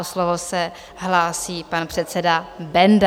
O slovo se hlásí pan předseda Benda.